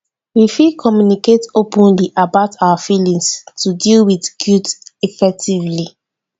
we fit communicate openly about our feelings to deal with guilt effectively.